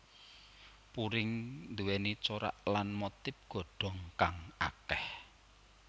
Puring nduwèni corak lan motif godhong kang akeh